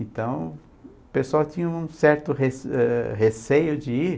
Então, o pessoal tinha um certo rece reeceio de ir.